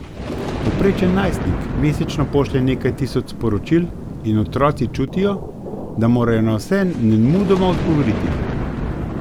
Povprečen najstnik mesečno pošlje nekaj tisoč sporočil in otroci čutijo, da morajo na vse nemudoma odgovoriti.